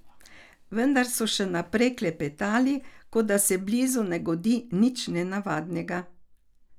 Vendar so še naprej klepetali, kot da se blizu ne godi nič nenavadnega.